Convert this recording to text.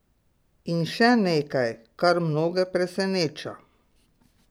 In še nekaj, kar mnoge preseneča.